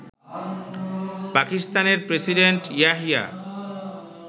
পাকিস্তানের প্রেসিডেন্ট ইয়াহিয়া